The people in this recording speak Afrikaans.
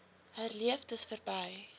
herleef dis verby